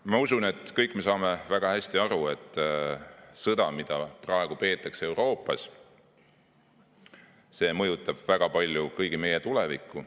Ma usun, et kõik me saame väga hästi aru, et sõda, mida praegu peetakse Euroopas, mõjutab väga palju kõigi meie tulevikku.